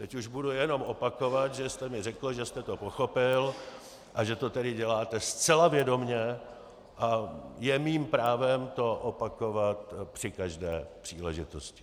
Teď už budu jenom opakovat, že jste mi řekl, že jste to pochopil, a že to tedy děláte zcela vědomě, a je mým právem to opakovat při každé příležitosti.